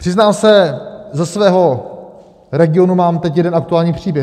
Přiznám se, ze svého regionu mám teď jeden aktuální příběh.